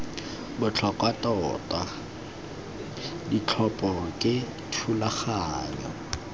botlhokwa tota ditlhopho ke thulaganyo